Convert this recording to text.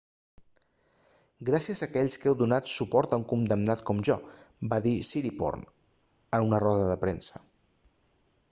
gràcies a aquells que heu donat suport a un condemnat com jo va dir siriporn a una roda de premsa